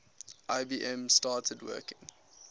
ibm started working